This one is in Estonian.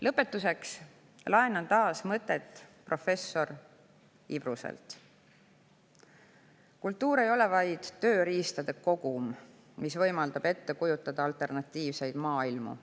Lõpetuseks laenan taas mõtte professor Ibruselt: "Kultuur ei ole vaid tööriistade kogum, mis võimaldab ette kujutada alternatiivseid maailmu.